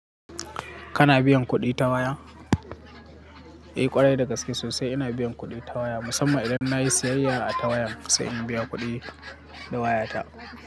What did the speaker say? Kana biyan kuɗi ta waya? Eh ƙwarai da gaske sosai ina biyan kuɗi ta waya, musamman idan na yi siyayya ata waya sai in biya kuɗi da wayata.